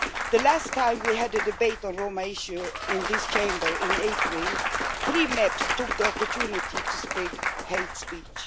The last time we had a debate on Roma issues in this Chamber in April, three MEPs took the opportunity to spread hate speech.